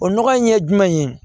O nɔgɔ in ye jumɛn ye